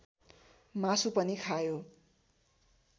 मासु पनि खायो